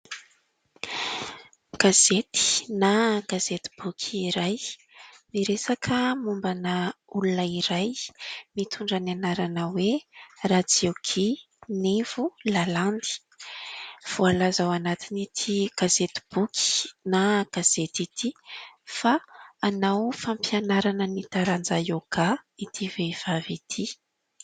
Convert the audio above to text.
Gazety na gazety boky iray miresaka mombana olona iray mitondra ny anarana hoe Ratiokia Nivo Lalandy voalaza ao anatin'ity gazety boky na gazety ity fa hanao fampianarana ny taranja ioga ity vehivavy ity.